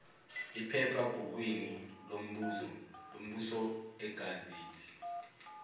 ephephabhukwini lombuso igazethi